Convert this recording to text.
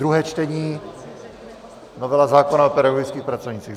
Druhé čtení, novela zákona o pedagogických pracovnících.